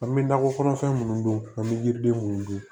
An bɛ nakɔ kɔnɔfɛn minnu don an bɛ yiriden minnu dun